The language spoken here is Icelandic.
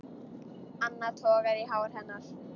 Annar togar í hár hennar.